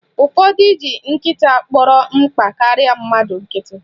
Ụfọdụ ji nkịta kpọrọ mkpa karịa mmadụ nkịtị